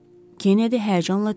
Kennedy həyəcanla dedi.